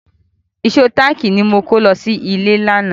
Ìṣó táàkì ni mo kó lọ sí ilé lánàá.